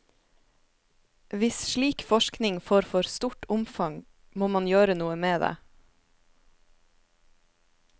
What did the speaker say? Hvis slik forskning får for stort omgang, må man gjøre noe med det.